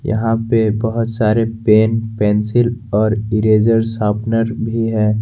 यहां पे बहुत सारे पेन पेंसिल और इरेज़र सॉफ्टवेयर भी है।